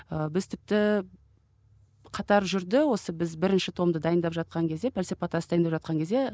ы біз тіпті қатар жүрді осы біз бірінші томды дайындап жатқан кезде пәлсапа тас дайындап жатқан кезде